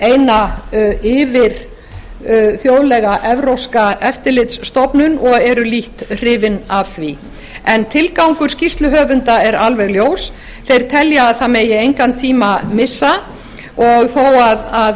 eina yfirþjóðlega evrópska eftirlitsstofnun og eru lítt hrifin af því en tilgangur skýrsluhöfunda er alveg ljós þeir telja að það megi engan tíma missa og þó að